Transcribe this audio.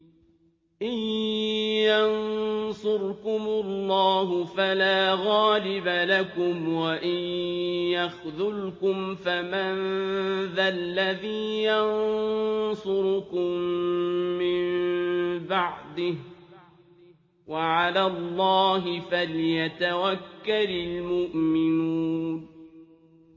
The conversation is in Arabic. إِن يَنصُرْكُمُ اللَّهُ فَلَا غَالِبَ لَكُمْ ۖ وَإِن يَخْذُلْكُمْ فَمَن ذَا الَّذِي يَنصُرُكُم مِّن بَعْدِهِ ۗ وَعَلَى اللَّهِ فَلْيَتَوَكَّلِ الْمُؤْمِنُونَ